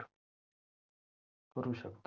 करू शकतात